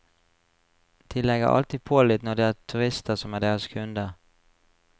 De legger alltid på litt når det er turister som er deres kunder.